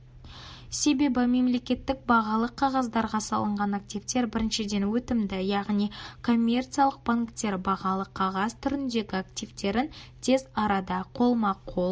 себебі мемлекеттік бағалы қағаздарға салынған активтер біріншіден өтімді яғни коммерциялық банктер бағалы қағаз түріндегі активтерін тез арада қолма-қол